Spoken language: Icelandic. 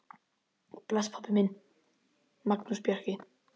Bless, pabbi minn, Magnús Bjarki.